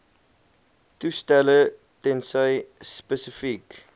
toestelle tensy spesifiek